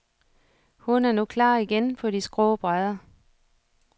Hun er nu klar igen på de skrå brædder.